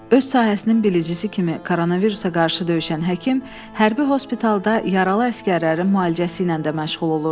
Öz sahəsinin bilicisi kimi koronavirusa qarşı döyüşən həkim hərbi hospitalda yaralı əsgərlərin müalicəsi ilə də məşğul olurdu.